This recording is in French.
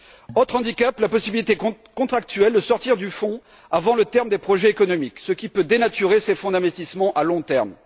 L'autre handicap, c'est la possibilité contractuelle de sortir du fonds avant le terme des projets économiques, ce qui peut dénaturer ces fonds d'investissement à long terme.